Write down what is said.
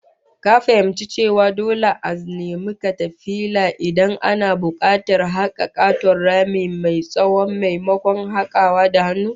Ka fahimci cewa dole za'a nemi katafila Idan ana bukatar a haka katon rami mai tsawon, maimakon hakawa da hannu?